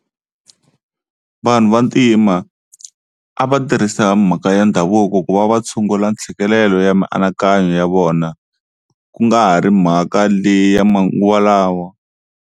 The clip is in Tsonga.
Vanhu Vantima a va tirhisa mhaka ya ndhavuko ku va va tshungula ntshikelelo ya mianakanyo ya vona ku nga ha ri mhaka leyi ya manguva lawa.